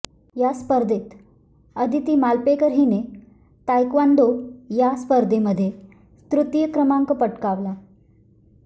या स्पर्धेत आदिती मालपेकर हिने तायक्वांदो या स्पर्धेमध्ये तृतीय क्रमांक पटकावला